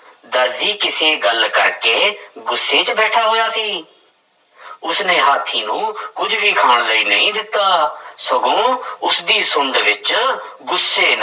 ਦਰਜੀ ਕਿਸੇ ਗੱਲ ਕਰਕੇ ਗੁੱਸੇ ਵਿੱਚ ਬੈਠਾ ਹੋਇਆ ਸੀ ਉਸਨੇ ਹਾਥੀ ਨੂੰ ਕੁੱਝ ਵੀ ਖਾਣ ਲਈ ਨਹੀਂ ਦਿੱਤਾ ਸਗੋਂ ਉਸਦੀ ਸੁੰਡ ਵਿੱਚ ਗੁੱਸੇ